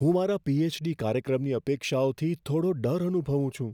હું મારા પી.એચ.ડી. કાર્યક્રમની અપેક્ષાઓથી થોડો ડર અનુભવું છું.